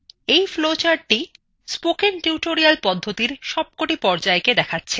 এই flowchartthe spoken tutorial পদ্ধতির সবকটি পর্যায় দেখায়